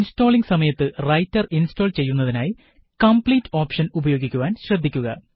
installing സമയത്ത് writer install ചെയ്യുന്നതിനായി Complete option ഉപയോഗിക്കുവാന് ശ്രദ്ധിക്കുക